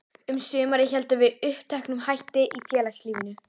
Um sumarið héldum við uppteknum hætti í félagslífinu.